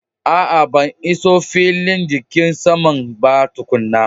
A'a ban iso filin jigin saman ba tukuna.